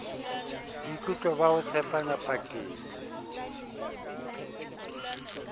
boikutlo ba ho tshepana pakeng